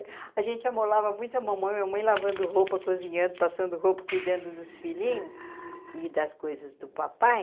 A gente amolava muito a mamãe, mamãe lavando roupa, cozinhando, passando roupa, cuidando dos filhinhos e das coisas do papai.